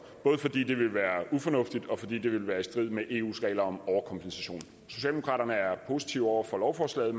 både fordi det ville være ufornuftigt og fordi det ville være i strid med eus regler om overkompensation socialdemokraterne er positive over for lovforslaget